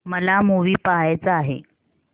मला मूवी पहायचा आहे